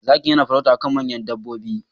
Zakin yana farauta akan manyan dabbobi.